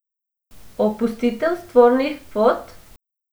Opustitev spornih kvot?